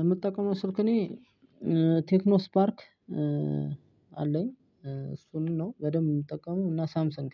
የምጠቀመው ስልክ እኔ ቴክኖ ስፓርክ አለኝ። እሱን ነው በደንብ የምጠቀመው እና ሳምሰንግ